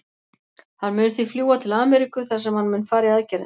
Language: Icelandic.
Hann mun því fljúga til Ameríku þar sem hann mun fara í aðgerðina.